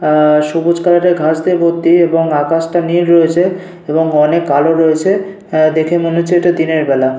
আ-আ সবুজ কালারের ঘাস দিয়ে ভর্তি এবং আকাশটা নীল রয়েছে এবং অনেক আলো রয়েছে। আ দেখে মনে হচ্ছে এইটা দিনের বেলা।